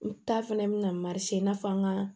U ta fɛnɛ bina marise in na fɔ an ga